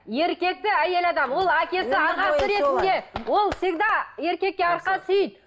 еркекті әйел адам ол әкесі ағасы ретінде ол всегда еркекке арқа сүйейді